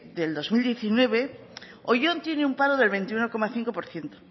del dos mil diecinueve oyón tiene un paro del veintiuno coma cinco por ciento